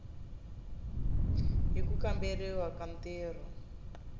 hi ku kamberiwa ka ntirho